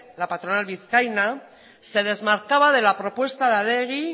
la patronal vizcaína se desmarcaba de la propuesta de adegi